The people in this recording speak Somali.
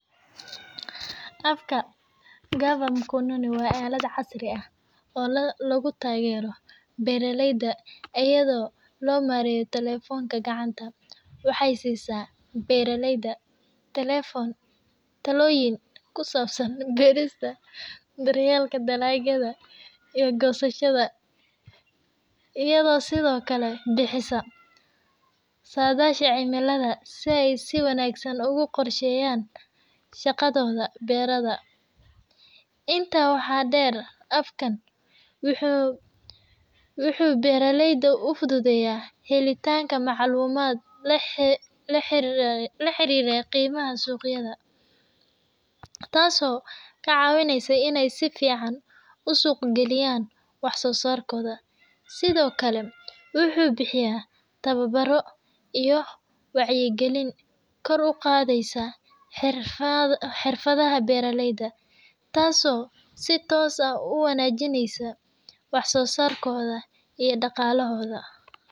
Afka cover mkononi wa alat casri aah, oo lagu tageeroh beera leeyda ayado lo mareyoh talephonka kacanta waxay sisah beerala leeyda talephonka taalyin kusabsan beeryelaka daroohyada, ee kosashada eyado sethokali bixisah sathasha celimada si wanagsan ugu qorsheeyan, shaqathotha beerada inta waxa deer afkan waxu beraleyda u futhutheyah helitanga macalumat laxariroh qimaha suqyada , taaso kacawineysah ina si fican u suuq kaliyan waxsosarkotha sethokali waxu bixiyah towabaro iyoh wacyikalin kor u Qatheysah xerfathaha beera leeyda taaso si toos aah u wanajoneysoh wax sosarkotha iyo adaqalahoda.